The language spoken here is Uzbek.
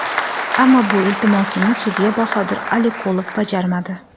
Ammo bu iltimosimni sudya Bahodir Aliqulov bajarmadi.